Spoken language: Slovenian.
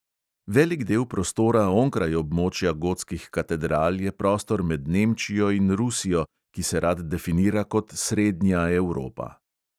Velik del prostora onkraj območja gotskih katedral je prostor med nemčijo in rusijo, ki se rad definira kot "srednja evropa".